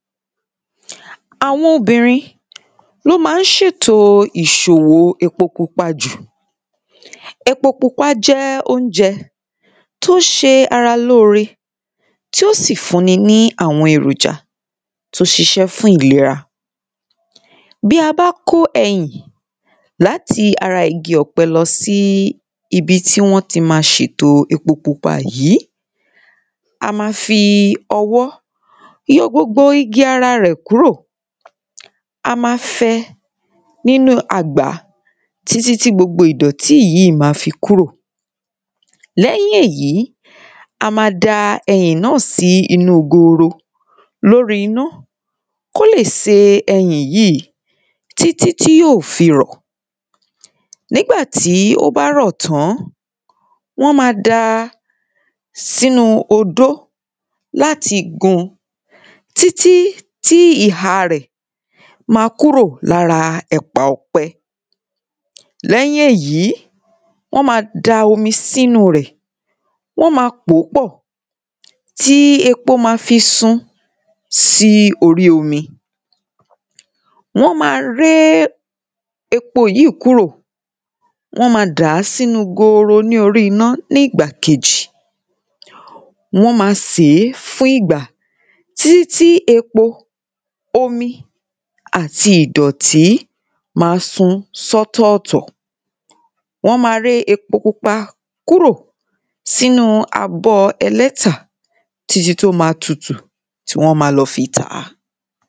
Àwọn obìnrin ni ó ma ń ṣètò ìṣòwò epo pupa jù Epo pupa jẹ́ óunjẹ tí ó ń ṣe ara lóore tí ó sì fún ẹni ní àwọn èròjà tí ó ṣiṣẹ́ fún ìlera Bí a bá kó ẹyìn láti ara igi ọ̀pẹ lọ sí ibi tí wọ́n ti ma ṣètò epo pupa yìí A ma fi ọwọ́ yọ gbogbo igi ara rẹ̀ kúrò A ma fẹ nínú àgbá títí tí gbogbo ìdọ̀tí yìí ma fi kúrò Lẹ́yìn èyí a ma da ẹyìn náà sí inú goro lórí iná kí ó lè se ẹyìn yìí títí tí yóò fi rọ̀ Nígbà tí ó bá rọ̀ tán wọ́n ma da sínú odó láti gun títí tí ìhà rẹ̀ ma kúrò lára ẹ̀pà ọ̀pẹ Lẹ́yìn èyí wọ́n ma da omi sínú rẹ̀ Wọ́n máa pò ó pọ̀ tí epo ma fi sun sí orí omi Wọ́n ma ré epo yìí kúrò Wọ́n ma dà á sínu gooro ní orí iná ní ìgbà kejì Wọ́n ma sè é fún ìgbà títít tí epo omi àti ìdọ̀tí ma sun sí ọ̀tọ̀ọ̀tọ̀ Wọ́n ma ré epo pupa kúrò sínú abọ́ ẹlẹ́tà títí tí ó ma tutù tí wọ́n ma lọ fi tà á